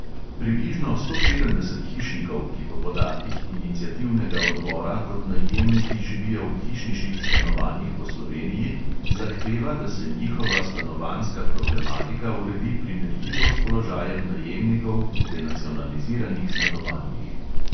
Približno sto sedemdeset hišnikov, ki po podatkih iniciativnega odbora kot najemniki živijo v hišniških stanovanjih po sloveniji, zahteva, da se njihova stanovanjska problematika uredi primerljivo s položajem najemnikov v denacionaliziranih stanovanjih.